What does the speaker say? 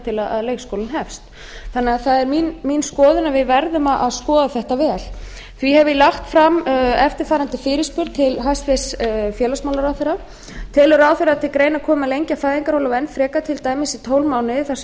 til leikskólinn hefst þannig að það er mín skoðun að við verðum að skoða þetta vel því hef ég lagt fram eftirfarandi fyrirspurn til hæstvirts félagsmálaráðherra fyrstu telur ráðherra að til greina komi að lengja fæðingarorlof enn frekar til dæmis í tólf mánuði þar sem